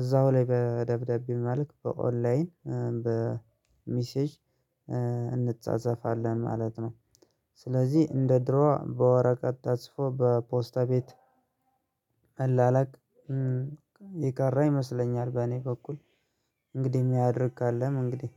እዛው ላይ በደብዳቤው መልክ በኦንላይን በሚሴጅ እንጻጸፋለን ማለት ነው። ስለዚህ እንደ ድሮ በወረቀት ታጽፎ በፖስታ ቤት መለላክ የቀር ይመስለኛል። በእኔ በኩል እንግዲህ የሚያደርግ ካለም እንግዲህ